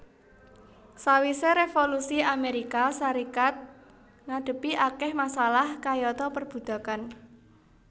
Sawisé Revolusi Amérika Sarékat ngadepi akèh masalah kayata perbudakan